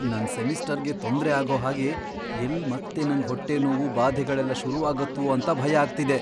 ನನ್ ಸೆಮಿಸ್ಟರ್ಗೆ ತೊಂದ್ರೆ ಆಗೋ ಹಾಗೆ ಎಲ್ಲ್ ಮತ್ತೆ ನಂಗ್ ಹೊಟ್ಟೆ ನೋವು, ಬಾಧೆಗಳೆಲ್ಲ ಶುರುವಾಗತ್ವೋ ಅಂತ ಭಯ ಆಗ್ತಿದೆ.